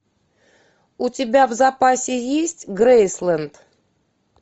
у тебя в запасе есть грейсленд